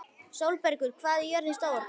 Sólbergur, hvað er jörðin stór?